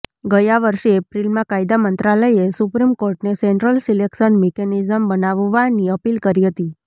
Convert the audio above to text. ગયા વર્ષે એપ્રિલમાં કાયદા મંત્રાલયે સુપ્રીમ કોર્ટને સેન્ટ્રલ સિલેક્શન મિકેનિઝમ બનાવવાની અપીલ કરી હતી